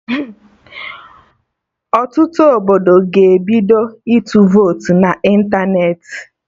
Ọtụtụ obodo ga-ebido ịtụ votu na ịntanetị